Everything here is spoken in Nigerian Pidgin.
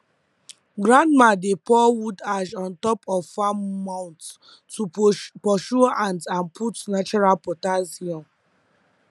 grandma dey pour wood ash on top of farm mounds to purs pursue ant and put natural potassium